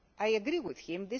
I agree with